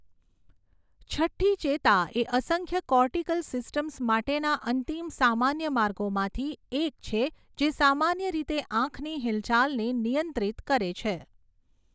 છઠ્ઠી ચેતા એ અસંખ્ય કોર્ટિકલ સિસ્ટમ્સ માટેના અંતિમ સામાન્ય માર્ગોમાંથી એક છે જે સામાન્ય રીતે આંખની હિલચાલને નિયંત્રિત કરે છે.